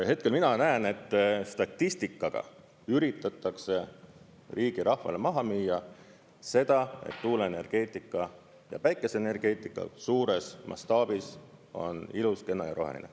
Hetkel mina näen, et statistikaga üritatakse riigi rahvale maha müüa seda, et tuuleenergeetika ja päikeseenergeetika suures mastaabis on ilus, kena ja roheline.